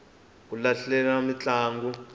ku hlaleriwa mintlangu